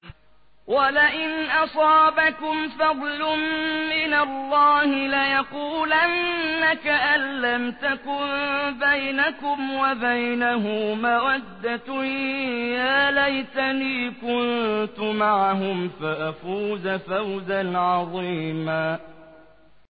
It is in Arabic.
وَلَئِنْ أَصَابَكُمْ فَضْلٌ مِّنَ اللَّهِ لَيَقُولَنَّ كَأَن لَّمْ تَكُن بَيْنَكُمْ وَبَيْنَهُ مَوَدَّةٌ يَا لَيْتَنِي كُنتُ مَعَهُمْ فَأَفُوزَ فَوْزًا عَظِيمًا